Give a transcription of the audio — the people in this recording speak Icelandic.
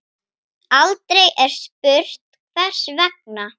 Aldrei er spurt hvers vegna.